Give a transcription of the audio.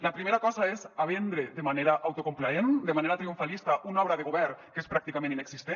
la primera cosa és a vendre de manera autocomplaent de manera triomfalista una obra de govern que és pràcticament inexistent